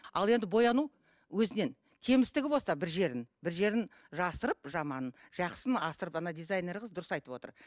ал енді бояну өзінен кемістігі болса бір жерін бір жерін жасырып жаманын жақсысын асырып дизайнер қыз дұрыс айтып отыр